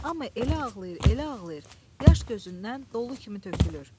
Amma elə ağlayır, elə ağlayır, yaş gözündən dolu kimi tökülür.